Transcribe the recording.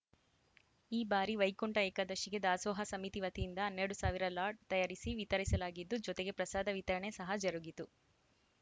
ಈ ಬಾರಿ ವೈಕುಂಠ ಏಕಾದಶಿಗೆ ದಾಸೋಹ ಸಮಿತಿ ವತಿಯಿಂದ ಹನ್ನೆರಡು ಸಾವಿರ ಲಾಡ್‌ ತಯಾರಿಸಿ ವಿತರಿಸಲಾಗಿದ್ದು ಜೊತೆಗೆ ಪ್ರಸಾದ ವಿತರಣೆ ಸಹ ಜರುಗಿತು